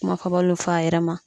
Kumafɔbaliw fɔ a yɛrɛ ma